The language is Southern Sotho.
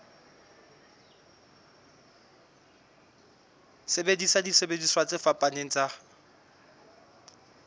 sebedisa disebediswa tse fapaneng tsa